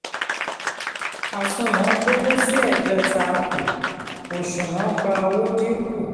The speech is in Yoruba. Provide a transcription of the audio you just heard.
àsunwọ̀n gbówó sí ẹ̀gbẹta àpò òṣùnwọ̀n gba owó dínkù.